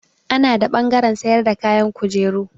Ana da ɓangaren sayar da kayan kujeru.